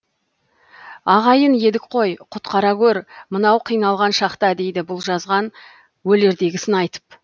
ағайын едік қой құтқара көр мынау қиналған шақта дейді бұл жазған өлердегісін айтып